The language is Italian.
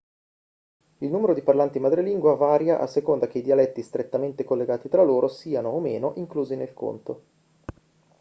il numero di parlanti madrelingua varia a seconda che i dialetti strettamente collegati tra loro siano o meno inclusi nel conto